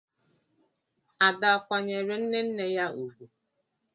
Ada akwanyeere nne nne ya ugwu?